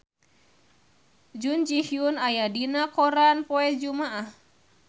Jun Ji Hyun aya dina koran poe Jumaah